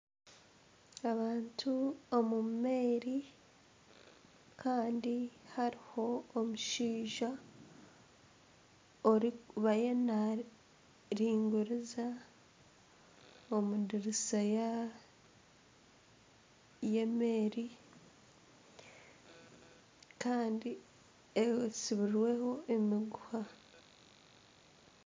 Abantu omu meeri kandi hariho omushaija ariyo nariguriza omu diriisa y'emeeri kandi etsibirweho emiguha.